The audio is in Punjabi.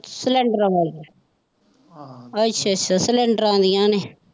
cylinder ਵਾਲੀ ਅੱਛਾ ਅੱਛਾ cylinder ਆਈਆਂ ਨੇ।